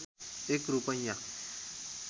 एक रूपैयाँ